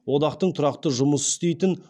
одақтың тұрақты жұмыс істейтін